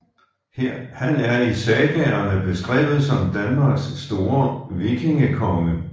Han er i sagaerne beskrevet som Danmarks store vikingekonge